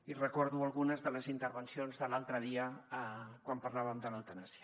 i recordo algunes de les intervencions de l’altre dia quan parlàvem de l’eutanàsia